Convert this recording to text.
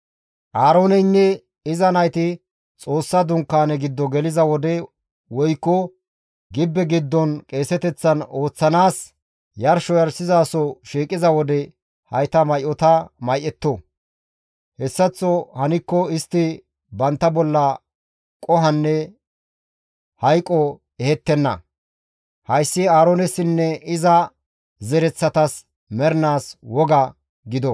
Aarooneynne iza nayti Xoossa Dunkaane giddo geliza wode woykko gibbe giddon qeeseteththan ooththanaas yarsho yarshizaso shiiqiza wode hayta may7ota may7etto. Hessaththo hankko istti bantta bolla qohonne hayqo ehettenna. Hayssi Aaroonessinne iza zereththatas mernaas woga gido.